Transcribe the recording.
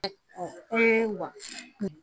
E wa